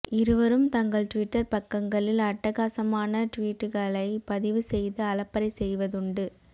இருவரும் தங்கள் டுவிட்டர் பக்கங்களில் அட்டகாசமான டுவீட்டுக்களை பதிவு செய்து அலப்பரை செய்வதுண்டு